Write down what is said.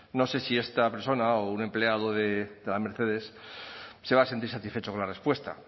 no sé si esta persona o un empleado de la mercedes se va a sentir satisfecho con la respuesta